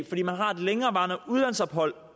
fordi man har et længerevarende udlandsophold